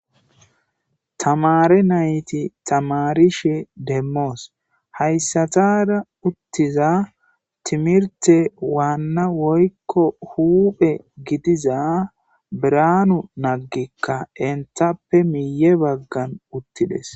Tamaare nayti tamaarishe demmos; haysatara uttiza timirte wanna woykko huuphe gidiza biranu nagika enttape miye baggan uttides.